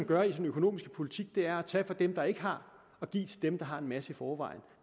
gør i sin økonomiske politik er at tage fra dem der ikke har og give til dem der har en masse i forvejen